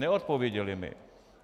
Neodpověděli mi.